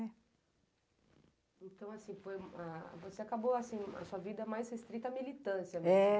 Então, você acabou a sua vida mais restrita à militância, não é?